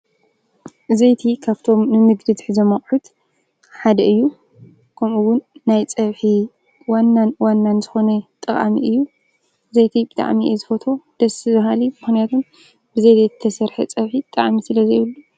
ዘይቲ ኻብቶም ንንግዲ ንሕዞም ኣቕሑት ሓደ እዩ። ከምኡውን ናይ ጸብሒ ዋናን ዋናን ዝኾነ ጠቓሚ እዩ። ዘይቲ ብጣዕሚ እየ ዝፈቱ ደስ ብሃሊ ምኽንያቱን ብዘይቲ ዘይተሠርሐ ጸብሒ ጣዕሚ ስለ ዘይብሉ።